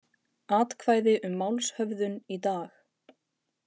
Atkvæði um málshöfðun í dag